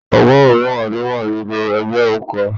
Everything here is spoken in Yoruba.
ọgọrun mẹwa ló wà nínú ẹgbẹrun kan.